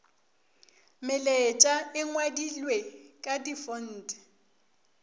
melaetša e ngwadilwe ka difonte